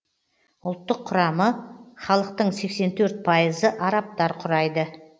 ұлттық құрамы халықтың сексен төрт пайызы арабтар құрайды